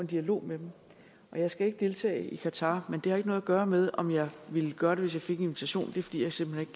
dialog med dem jeg skal ikke deltage i qatar men det har ikke noget at gøre med om jeg ville gøre det hvis jeg fik en invitation det er fordi jeg simpelt